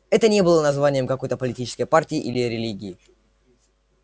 это не было названием какой-то политической партии или религии